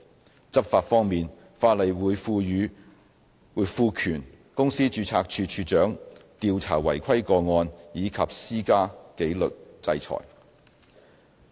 在執法方面，法例會賦權公司註冊處處長調查違規個案及施加紀律制裁。